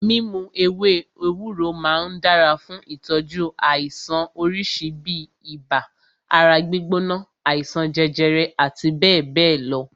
Mímu ewé ewúro máà ń dára fún ìtọ́jú àìsàn oríṣi bíi ibà, ara gbígbóná, àìsàn jẹjẹrẹ àti bẹ́ẹ̀bẹ́ẹ̀ lọ.